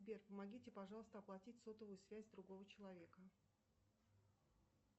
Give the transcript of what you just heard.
сбер помогите пожалуйста оплатить сотовую связь другого человека